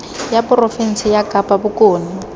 ya porofense ya kapa bokone